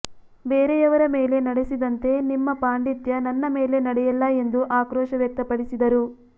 ಬೇರೆಯವರ ಮೇಲೆ ನಡೆಸಿದಂತೆ ನಿಮ್ಮ ಪಾಂಡಿತ್ಯ ನನ್ನ ಮೇಲೆ ನಡೆಯಲ್ಲ ಎಂದು ಆಕ್ರೋಶ ವ್ಯಕ್ತಪಡಿಸಿದರು